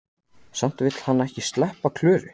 Samt vill hann ekki sleppa Klöru.